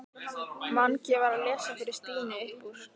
Mangi var að lesa fyrir Stínu upp úr